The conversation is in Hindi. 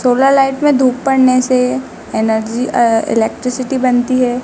सोलर लाइट में धूप पड़ने से एनर्जी अ इलेक्ट्रिसिटी बनती है।